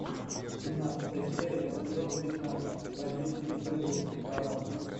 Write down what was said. семнадцатая серия сезона пятнадцать бандитский петербург барон